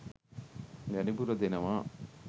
වැඩිපුර දෙනවා